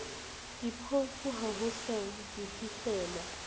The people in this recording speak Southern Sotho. diphofu ha ho sa fihlelwa